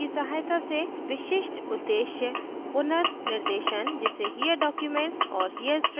कुछ उदाहरणों की सहायता से विशिष्ट उद्देश्य पुनर्निर्देशन जिसे here documents और here strings